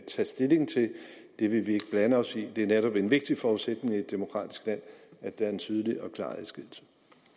stilling til det vil vi ikke blande os i det er netop en vigtig forudsætning for et demokratisk land at der er en tydelig og klar adskillelse